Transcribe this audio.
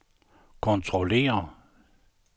kontrollere